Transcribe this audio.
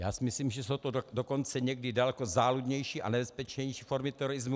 Já si myslím, že jsou to dokonce někdy daleko záludnější a nebezpečnější formy terorismu.